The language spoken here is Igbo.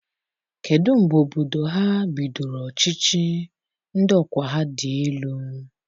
Kedụ mgbe obodo ha bidoro ọchịchị ndị ọkwa ha dị elu?